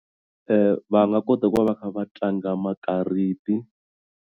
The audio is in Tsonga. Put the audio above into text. Va nga kota ku va va kha va tlanga makariti.